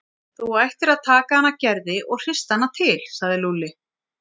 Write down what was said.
Þú ættir að taka hana Gerði og hrista hana til sagði Lúlli.